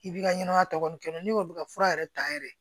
I b'i ka ɲɛnɛmaya tɔ nin kɛ n'i ko bi ka fura yɛrɛ ta yɛrɛ